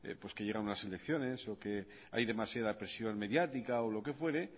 pues que llegan una selecciones o que hay demasiada presión mediática o lo que fuere